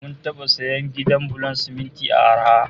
Mun taba sayan gidan bulon siminti a arha